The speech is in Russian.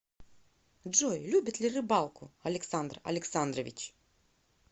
джой любит ли рыбалку александр александрович